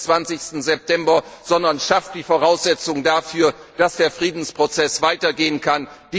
an, sondern schafft die Voraussetzung dafür, dass der Friedensprozess weitergehen kann!